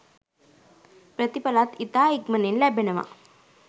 ප්‍රතිඵලත් ඉතා ඉක්මනින් ලැබෙනවා.